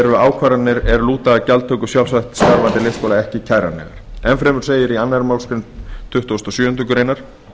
eru ákvarðanir er lúta að gjaldtöku sjálfstætt starfandi leikskóla ekki kæranlegar enn fremur segir í annarri málsgrein tuttugustu og sjöundu greinar